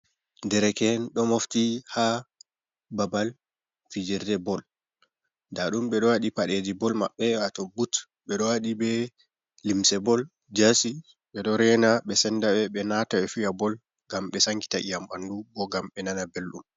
Derke’en ɗo mofti ha babal fijerde bol nda ɗum ɓeɗo waɗi paɗeji bol maɓɓe wato butt, ɓeɗo waɗi be limse bol jesi. Ɓeɗo rena ɓe sendaɓe ɓe nata ɓe fiya bol ngam ɓe sankita iyam ɓandu bo ngam ɓe nana belɗum.